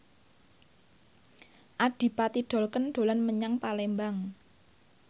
Adipati Dolken dolan menyang Palembang